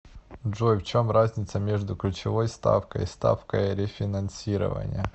джой в чем разница между ключевой ставкой и ставкой рефинансирования